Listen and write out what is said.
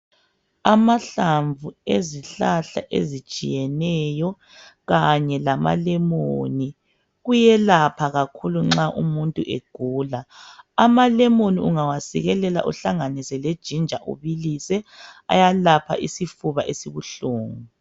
Amahlamvu ezihlahla ezitshiyeneyo kanye lamalemoni, kuyelapha kakhulu nxa umuntu egula. Amalemoni ungawasikelela uhlanganise lejinja ibilise, ayalapha isifuba esibuhlungu.